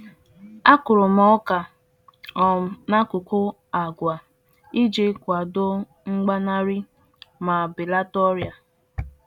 Akụrụ m ọka n'akụkụ àgwà iji nye aka na ntụgharị nke iheọkụkụ ma belata otu ọrịa si esite n'otu oge gafere n'oge ọzọ.